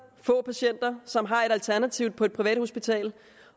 patienter som har et alternativ på et privathospital